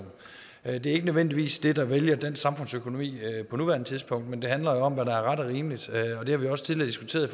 at det ikke nødvendigvis er det der vælter dansk samfundsøkonomi på nuværende tidspunkt men det handler jo om hvad der er ret og rimeligt det har vi også tidligere diskuteret i